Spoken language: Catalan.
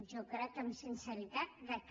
jo crec amb sinceritat que